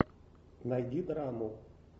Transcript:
найди драму